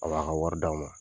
A b'a ka wari d'aw ma